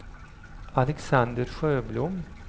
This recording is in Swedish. Alexander Sjöblom